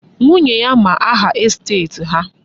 Nwunye ya ma aha estet ha.